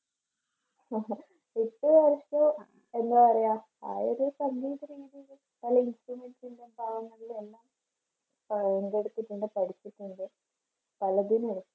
എന്താ പറയുക ആ ഒരു പഠിച്ചിട്ടുണ്ട്